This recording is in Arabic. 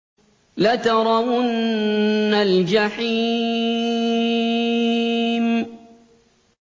لَتَرَوُنَّ الْجَحِيمَ